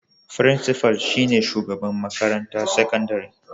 Frincifal shi ne shugaban makarantar sakandare.